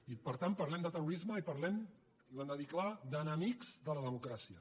i per tant parlem de terrorisme i parlem ho hem de dir clar d’enemics de la democràcia